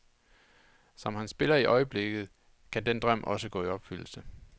Som han spiller i øjeblikket, kan den drøm også gå i opfyldelse.